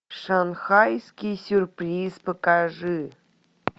шанхайский сюрприз покажи